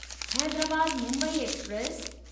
Hyderabad Mumbai express